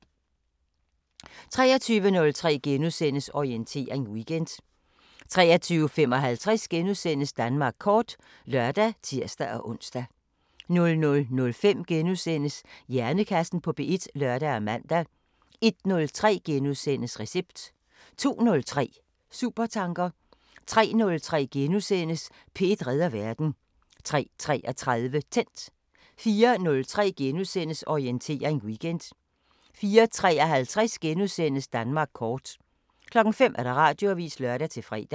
23:03: Orientering Weekend * 23:55: Danmark kort *(lør og tir-ons) 00:05: Hjernekassen på P1 *(lør og man) 01:03: Recept * 02:03: Supertanker 03:03: P1 redder verden * 03:33: Tændt 04:03: Orientering Weekend * 04:53: Danmark kort * 05:00: Radioavisen (lør-fre)